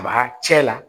A ba cɛ la